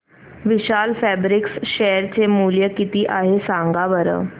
विशाल fabrics share चे मूल्य किती आहे सांगा बरं